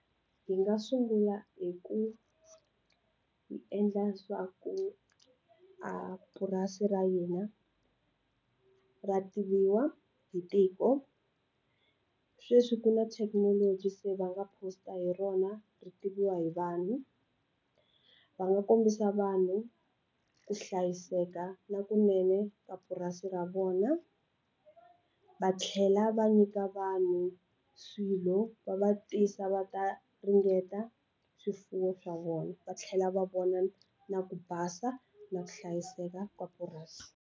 Hi nga sungula hi ku hi endla swa ku a purasi ra hina ra tiviwa hi tiko sweswi ku na thekinoloji se va nga post a hi rona ri tiviwa hi vanhu va nga kombisa vanhu ku hlayiseka na kunene ka purasi ra vona va tlhela va nyika vanhu swilo va va tisa va ta ringeta swifuwo swa vona va tlhela va vona na ku basa na ku hlayiseka ka purasi.